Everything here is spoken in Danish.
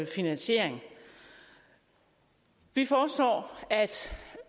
finansiering vi foreslår at